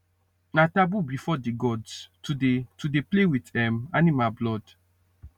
na taboo before the gods to dey to dey play with um animal blood